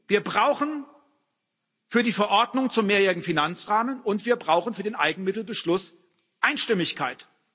Wir brauchen für die Verordnung zum mehrjährigen Finanzrahmen und wir brauchen für den Eigenmittelbeschluss Einstimmigkeit.